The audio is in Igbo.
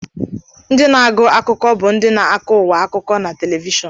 Ndị na-agụ akụkọ bụ ndị na-akọ ụwa akụkọ na televishọn